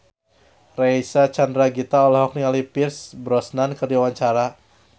Reysa Chandragitta olohok ningali Pierce Brosnan keur diwawancara